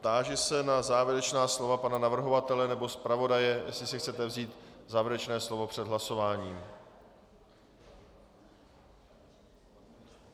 Táži se na závěrečná slova pana navrhovatele nebo zpravodaje, jestli si chcete vzít závěrečné slovo před hlasováním.